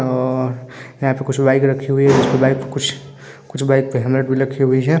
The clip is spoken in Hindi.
और यहाँ पे कुछ बाइक रखी हुई हैं कुछ बाइक पे कुछ बाइक पे हेलमेट भी रखी हुई है ।